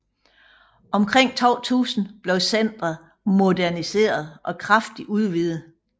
Omkring 2000 blev centret moderniseret og kraftigt udvidet